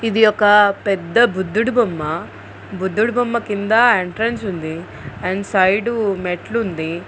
ఇది ఒక పెద్ద బుద్ధుడు బొమ్మ. బుద్ధుడు బొమ్మ కింద ఎంట్రన్స్ ఉంది అండ్ సైడ్ మెట్లు ఉంది.